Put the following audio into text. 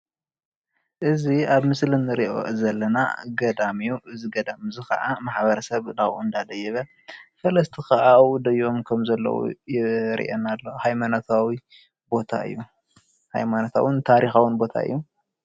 እዚ ኣብ ምስሊ እንሪኦ ዘለና ገዳም እዩ፡፡ እዚ ገዳም እዚ ከዓ ማሕበረሰብ ናብኡ እንዳደየበ እቲ ከባቢ እውን ናብኡ ደይቦም ከም ዘሎ የርእየና ኣሎ፡፡ ሃይማኖታዊን ታሪካዊን ቦታ እዩ፡፡